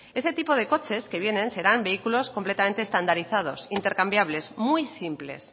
ese tipo de coches que vienen serán vehículos completamente estandarizados intercambiables muy simples